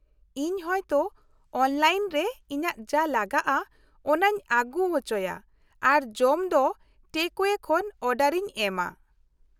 - ᱤᱧ ᱦᱚᱭᱛᱚ ᱚᱱᱞᱟᱭᱤᱱ ᱨᱮ ᱤᱧᱟᱹᱜ ᱡᱟ ᱞᱟᱜᱟᱜᱼᱟ ᱚᱱᱟᱧ ᱟᱹᱜᱩ ᱚᱪᱚᱭᱟ ᱟᱨ ᱡᱚᱢ ᱫᱚ ᱴᱮᱠᱼ ᱟᱣᱭᱮ ᱠᱷᱚᱱ ᱚᱰᱟᱨ ᱤᱧ ᱮᱢᱟ ᱾